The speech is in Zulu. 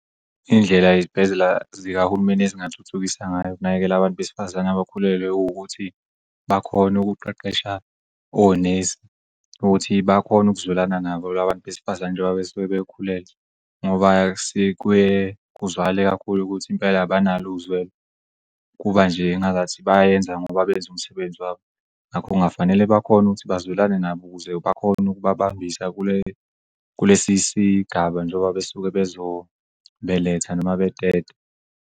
Iy'ndlela ezibhedlela zikahulumeni ezingathuthukisa ngayo ukunakekela abantu besifazane abakhulelwe uwukuthi bakhone ukuqeqesha onesi ukuthi bakhone ukuzwelana nabo labantu besifazane njoba besuke bekhulelwe. Ngoba sike kuzwakale kakhulu ukuthi impela abanal'uzwela kuba nje engazathi bayayenza ngoba benz'umsebenzi wabo ngakho kungafanele bakhone ukuthi bazwelane nabo ukuze bakhone ukubabambisa kule kulesi sigaba njengoba besuke bezobeletha noma beteta.